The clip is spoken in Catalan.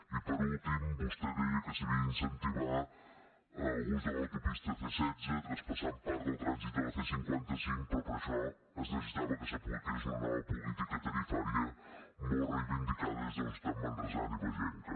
i per últim vostè deia que s’havia d’incentivar l’ús de l’autopista c·setze tras·passant part del trànsit de la c·cinquanta cinc però per a això es necessitava que s’apliqués una nova política tarifària molt reivindicada des de la societat manresana i ba·genca